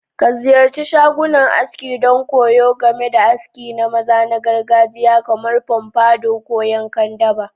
Ka ziyarci shagunan aski don koyo game da aski na maza na gargajiya kamar pompadour ko yankan daba.